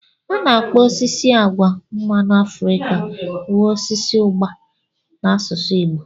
A na-akpọ osisi agwa mmanụ Afrika wu osisi ugba n'asụsụ Igbo.